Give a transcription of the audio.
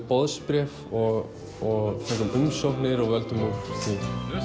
boðsbréf og fengum umsóknir og völdum úr því